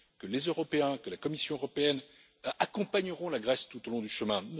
Les Européens et la Commission européenne l'accompagneront tout au long du chemin.